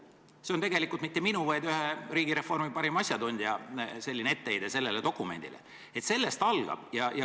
See ei ole tegelikult mitte minu, vaid ühe riigireformi parima asjatundja etteheide sellele dokumendile, sellest see algab.